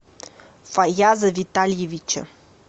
фаяза витальевича